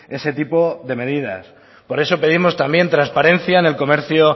ese tipo de medidas por eso pedimos también transparencia en el comercio